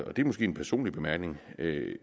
og det er måske en personlig bemærkning